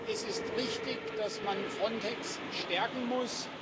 Es ist richtig, dass man Frontex stärken muss.